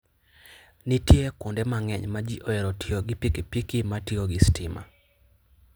Nitie kuonde mang'eny ma ji ohero tiyo gi pikipiki ma tiyo gi stima.